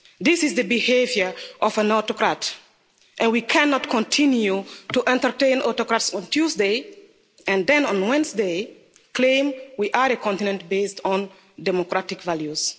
This is the behaviour of an autocrat and we cannot continue to entertain autocrats on Tuesday and then on Wednesday claim we are a continent based on democratic values.